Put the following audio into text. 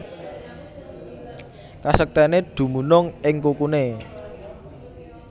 Kasektèné dumunung ing kukuné